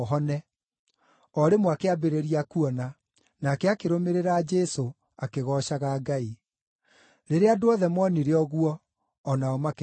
O rĩmwe akĩambĩrĩria kuona, nake akĩrũmĩrĩra Jesũ, akĩgoocaga Ngai. Rĩrĩa andũ othe moonire ũguo, o nao makĩgooca Ngai.